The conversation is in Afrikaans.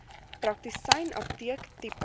praktisyn apteek tipe